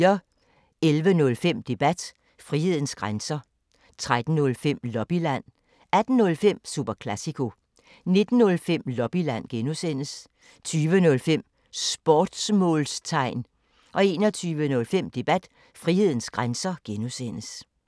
11:05: Debat: Frihedens grænser 13:05: Lobbyland 18:05: Super Classico 19:05: Lobbyland (G) 20:05: Sportsmålstegn 21:05: Debat: Frihedens grænser (G)